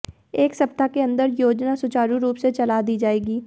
एक सप्ताह के अंदर योजना सुचारू रूप से चला दी जाएगी